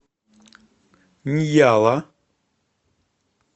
ньяла